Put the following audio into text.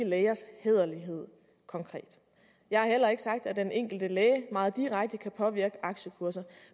lægers hæderlighed konkret jeg har heller ikke sagt at den enkelte læge meget direkte kan påvirke aktiekurser